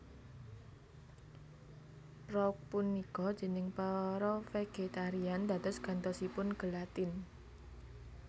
Prouk punika déning para vegetarian dados gantosipun gelatin